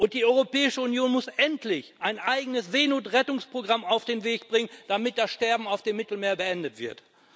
Die Europäische Union muss endlich ein eigenes Seenotrettungsprogramm auf den Weg bringen, damit das Sterben auf dem Mittelmeer beendet wird.